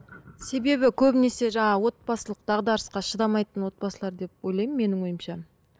себебі көбінесе жаңағы отбасылық дағдарысқа шыдамайтын отбасылар деп ойлаймын менің ойымша